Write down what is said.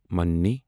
مانی